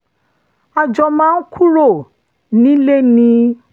a jọ máa ń kúrò nílé ni